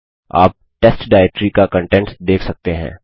आप test directory का contents देख सकते हैं